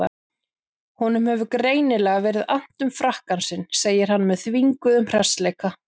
Honum hefur greinilega verið annt um frakkann sinn, segir hann með þvinguðum hressileika.